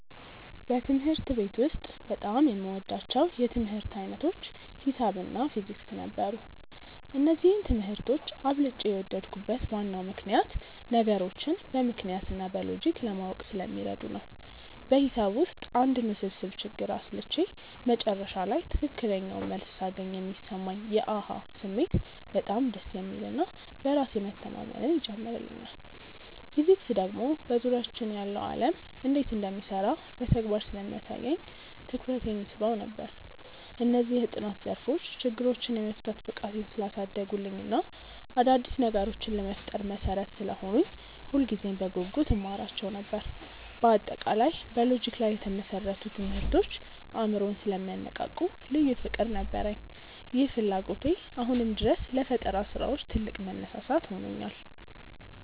በትምህርት ቤት ውስጥ በጣም የምወዳቸው የትምህርት ዓይነቶች ሒሳብ እና ፊዚክስ ነበሩ። እነዚህን ትምህርቶች አብልጬ የወደድኩበት ዋናው ምክንያት ነገሮችን በምክንያት እና በሎጂክ ለማወቅ ስለሚረዱ ነው። በሒሳብ ውስጥ አንድን ውስብስብ ችግር አስልቼ መጨረሻ ላይ ትክክለኛውን መልስ ሳገኝ የሚሰማኝ የ "አሃ" ስሜት በጣም ደስ የሚል እና በራስ መተማመንን ይጨምርልኛል። ፊዚክስ ደግሞ በዙሪያችን ያለው ዓለም እንዴት እንደሚሰራ በተግባር ስለሚያሳየኝ ትኩረቴን ይስበው ነበር። እነዚህ የጥናት ዘርፎች ችግሮችን የመፍታት ብቃቴን ስላሳደጉልኝ እና አዳዲስ ነገሮችን ለመፍጠር መሠረት ስለሆኑኝ ሁልጊዜም በጉጉት እማራቸው ነበር። በአጠቃላይ በሎጂክ ላይ የተመሰረቱ ትምህርቶች አእምሮን ስለሚያነቃቁ ልዩ ፍቅር ነበረኝ። ይህ ፍላጎቴ አሁንም ድረስ ለፈጠራ ስራዎች ትልቅ መነሳሳት ሆኖኛል።